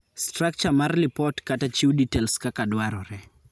Structure mar lipot /chiw details kaka dwarore.